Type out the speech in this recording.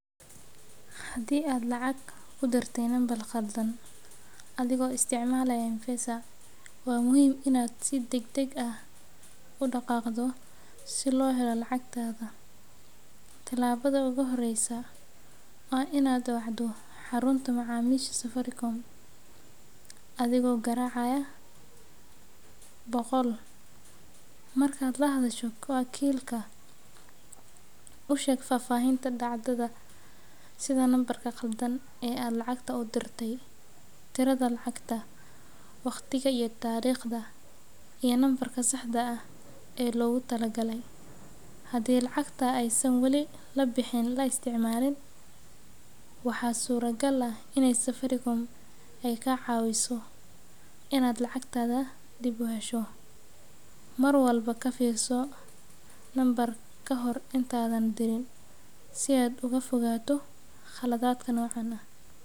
Haddii aad lacag ku dirtay nambar khaldan adigoo isticmaalaya M-Pesa, waa muhiim in aad si degdeg ah u dhaqaaqdo si loo helo lacagtaada. Talaabada ugu horreysa waa in aad wacdo xarunta macaamiisha Safaricom adigoo garaacaya boqol. Markaad la hadasho wakiilka, u sheeg faahfaahinta dhacdada, sida nambarka khaldan ee aad lacagta u dirtay, tirada lacagta, waqtiga iyo taariikhda, iyo nambarka saxda ahaa ee loogu talagalay. Haddii lacagta aysan wali la bixin la isticmaalin, waxaa suuragal ah in Safaricom ay kaa caawiso inaad lacagtaada dib u hesho. Mar walba ka fiirso nambarka kahor intaadan dirin si aad uga fogaato khaladaadka noocan ah.